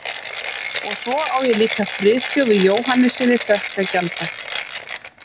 Og svo á ég líka Friðþjófi Jóhannessyni þökk að gjalda